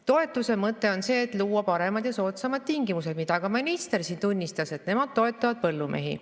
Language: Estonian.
Toetuse mõte on see, et luua paremad ja soodsamad tingimused, mida ka minister siin tunnistas, et nemad toetavad põllumehi.